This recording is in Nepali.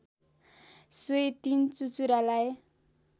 सोहि ३ चुचुरालाई